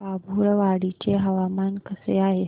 बाभुळवाडी चे हवामान कसे आहे